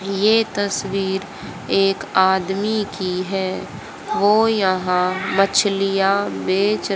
ये तस्वीर एक आदमी की है वो यहां मछलियां बेच--